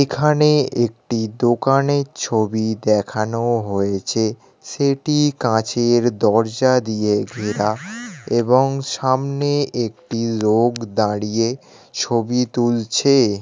এখানে একটি দোকানের ছবি দেখানো হয়েছে। সেটি কাঁচের দরজা দিয়ে ঘেরা এবং সামনে একটি লোক দাঁড়িয়ে ছবি তুলছে।